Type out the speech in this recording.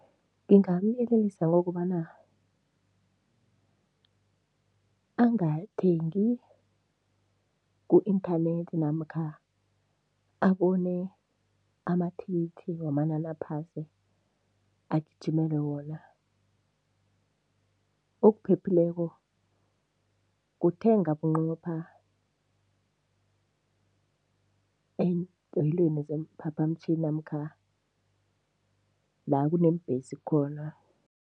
Ngingamyelelisa ngokobana angathengi ku-inthanethi namkha abone amathikithi wamanani aphasi, agijimele wona. Okuphephileko kuthenga bunqopha eendoyelweni zeemphaphamtjhini namkha la kuneembhesi khona.